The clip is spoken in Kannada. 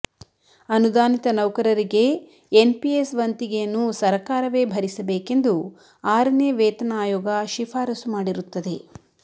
ಅನುದಾನಿತ ನೌಕರರಿಗೆ ಎನ್ಪಿಎಸ್ ವಂತಿಗೆಯನ್ನು ಸರಕಾರವೇ ಭರಿಸಬೇಕೆಂದು ಆರನೇ ವೇತನ ಆಯೋಗ ಶಿಫಾರಸು ಮಾಡಿರುತ್ತದೆ